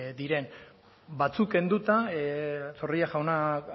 diren batzuk kenduta zorrilla jaunak